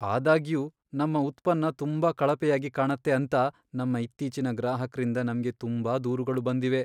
ಆದಾಗ್ಯೂ, ನಮ್ಮ ಉತ್ಪನ್ನ ತುಂಬಾ ಕಳಪೆಯಾಗಿ ಕಾಣತ್ತೆ ಅಂತ ನಮ್ಮ ಇತ್ತೀಚಿನ ಗ್ರಾಹಕ್ರಿಂದ ನಮ್ಗೆ ತುಂಬಾ ದೂರುಗಳು ಬಂದಿವೆ.